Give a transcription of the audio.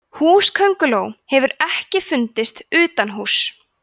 húsakönguló hefur ekki fundist utanhúss